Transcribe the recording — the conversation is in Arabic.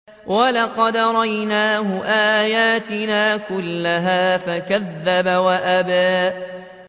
وَلَقَدْ أَرَيْنَاهُ آيَاتِنَا كُلَّهَا فَكَذَّبَ وَأَبَىٰ